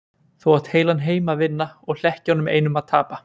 Þú átt heilan heim að vinna og hlekkjunum einum að tapa.